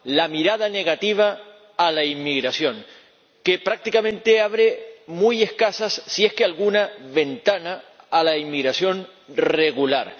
La mirada negativa a la inmigración que, prácticamente, abre muy escasas —si es que alguna— ventanas a la inmigración regular.